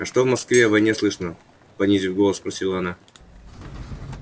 а что в москве о войне слышно понизив голос спросила она